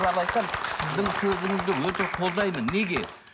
сіздің сөзіңізді өте қолдаймын неге